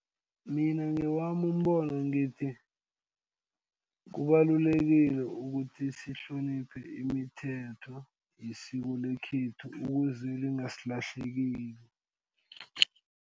Mina ngewami umbono ngithi kubalulekile ukuthi sihloniphe imithetho yesiko lekhethu ukuze lingasilahlekile.